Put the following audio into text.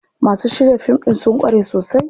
Masu shirya fim ɗin sun ƙware sosai.